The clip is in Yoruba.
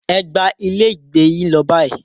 Ẹ gba ilé ìgbé yín lọ báyìí.